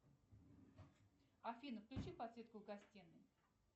афина включи подсветку в гостиной